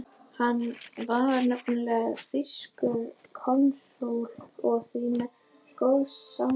Hann var nefnilega þýskur konsúll og því með góð sambönd.